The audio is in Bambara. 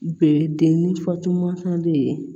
Bɛ den ni fatu mansa de ye